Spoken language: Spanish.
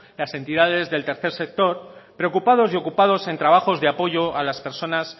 las entidades del tercer sector preocupados y ocupados en trabajos de apoyo a las personas